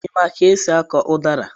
I maara ka esị akọ udara?